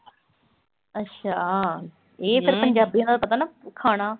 ਅੱਛਾ, ਇਹ ਫਿਰ ਪੰਜਾਬੀਆਂ ਦਾ ਪਤਾ ਨਾ ਖਾਣਾ।